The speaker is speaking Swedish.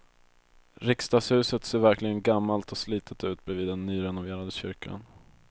Riksdagshuset ser verkligen gammalt och slitet ut bredvid den nyrenoverade kyrkan.